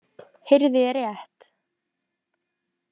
Heyrði ég rétt?